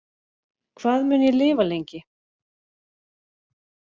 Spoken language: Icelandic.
Hvað mun ég lifa lengi